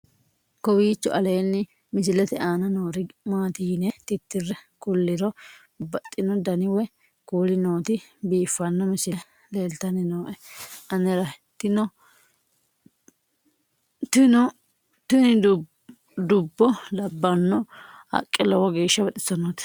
kowiicho aleenni misilete aana noori maati yine titire kulliro babaxino dani woy kuuli nooti biiffanno misile leeltanni nooe anera tino tini dubbo labbanno haqqe lowo geeshsha baxisssannote